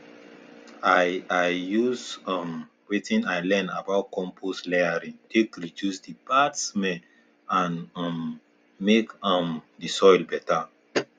i i use um wetin i learn about compost layering take reduce the bad smell and um make um the soil better